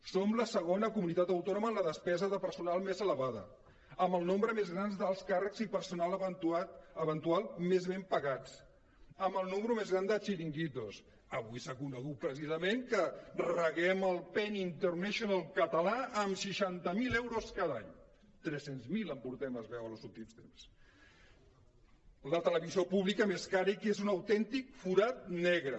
som la segona comunitat autònoma en la despesa de per·sonal més elevada amb el nombre més gran d’alts càrrecs i personal eventual més ben pagats amb el número més gran de xiringuitos avui s’ha conegut precisament que reguem el pen international català amb seixanta mil euros cada any tres cents miler en portem es veu en els últims temps la televisió pública més cara i que és un autèn·tic forat negre